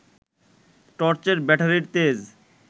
টর্চের ব্যাটারির তেজ